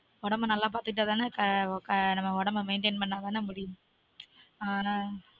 உடம்ப நல்ல பார்த்துட்டா தான க க நம்ம உடம்ப maintain பண்ணாதான முடியும்